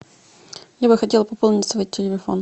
я бы хотела пополнить свой телефон